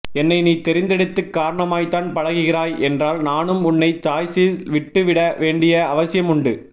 என்னை நீ தெரிந்தெடுத்து காரணமாய்த்தான் பழகுகிறாய் என்றால் நானும் உன்னை சாய்ஸில் விட்டுவிட வேண்டிய அவசியம் உண்டு